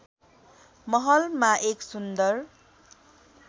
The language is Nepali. महलमा एक सुन्दर